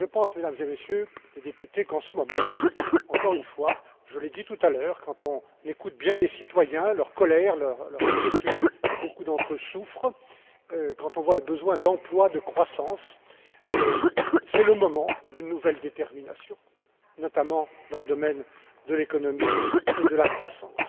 Et je pense, Mesdames et Messieurs les députés qu'en ce moment, encore une fois, je l'ai dit tout à l'heure, quand on écoute bien les citoyens, leur colère, leur inquiétude, et beaucoup d'entre eux souffrent, quand on voit le besoin d'emplois, de croissance, c'est le moment d'une nouvelle détermination, notamment dans le domaine de l'économie et de la croissance.